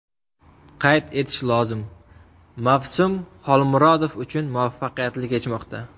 Qayd etish lozim, mavsum Xolmurodov uchun muvaffaqiyatli kechmoqda.